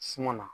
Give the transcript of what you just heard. Suman na